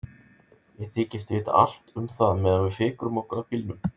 Ég þykist vita allt um það meðan við fikrum okkur að bílnum.